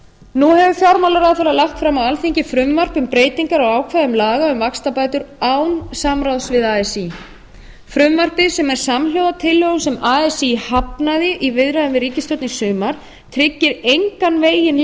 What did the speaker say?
nú hefur fjármálaráðherra lagt fram á alþingi frumvarp um breytingar á ákvæðum laga um vaxtabætur án samráðs við así frumvarpið sem er samhljóða tillögum sem así hafnaði í viðræðum við ríkisstjórn í sumar tryggir engan veginn leiðréttingu